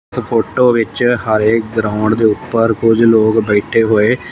photo ਵਿੱਚ ਹਰੇ ground ਦੇ ਉੱਪਰ ਕੁਝ ਲੋਕ ਬੈਠੇ ਹੋਏ--